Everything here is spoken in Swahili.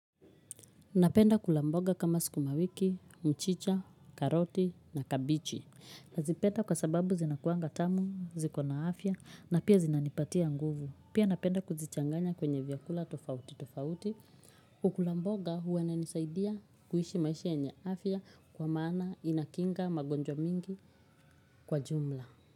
Napenda kula mboga kama sikumawiki, mchicha, karoti na kabichi. Nazipenda kwa sababu zinakuanga tamu, ziko na afya na pia zinanipatia nguvu. Pia napenda kuzichanganya kwenye vyakula tofauti tofauti. Kukula mboga huwa nanisaidia kuhishi maisha enye afya kwa maana inakinga magonjwa mingi kwa jumla.